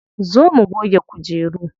Zo mu goge kujeru.